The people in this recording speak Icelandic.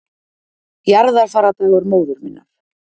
Jarðarfarardagur móður minnar